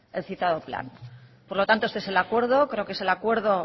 el citado plan por lo tanto este es el acuerdo creo que es el acuerdo